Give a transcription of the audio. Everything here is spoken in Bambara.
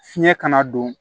Fiɲɛ kana don